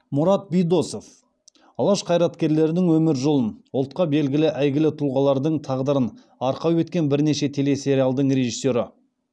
мұрат бидосов алаш қайраткерлерінің өмір жолын ұлтқа белгілі әйгілі тұлғалардың тағдырын арқау еткен бірнеше телесериалдың режиссері